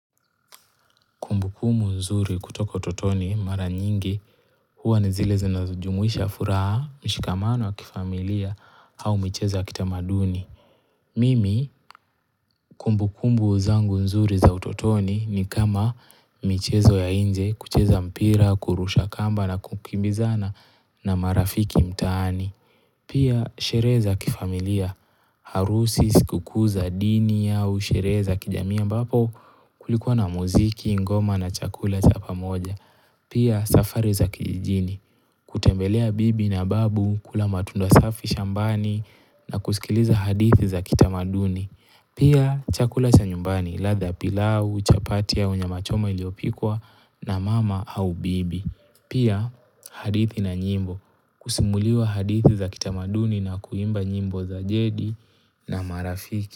Kumbukumu nzuri kutoka utotoni mara nyingi huwa ni zile zinazojumuisha furaha, mshikamano wa kifamilia au michezo ya kitamaduni. Mimi kumbukumbu zangu nzuri za utotoni ni kama michezo ya inje kucheza mpira, kurusha kamba na kukimbizana na marafiki mtaani. Pia sherehe za kifamilia, harusi sikukuu za dini au sherehe za kijamii ambapo kulikuwa na muziki, ngoma na chakula cha pamoja. Pia safari za kijijini, kutembelea bibi na babu, kula matunda safi shambani na kusikiliza hadithi za kitamaduni. Pia chakula cha nyumbani, ladha pilau, chapati au nyama choma iliopikwa na mama au bibi. Pia hadithi na nyimbo, kusimuliwa hadithi za kitamaduni na kuimba nyimbo za jedi na marafiki.